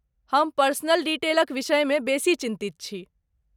हम पर्सनल डिटेलक विषयमे बेसी चिन्तित छी।